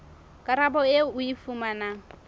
karabo eo o e fumanang